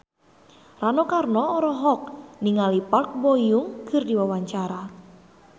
Rano Karno olohok ningali Park Bo Yung keur diwawancara